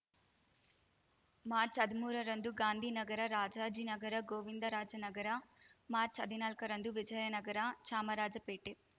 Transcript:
ಮಾರ್ಚ್ಹದ್ಮೂರರಂದು ಗಾಂಧಿನಗರ ರಾಜಾಜಿನಗರ ಗೋವಿಂದರಾಜನಗರ ಮಾರ್ಚ್ಹದ್ನಾಲ್ಕರಂದು ವಿಜಯನಗರ ಚಾಮರಾಜಪೇಟೆ